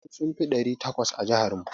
Makarantu sun fi ɗari takwas a jihar mu.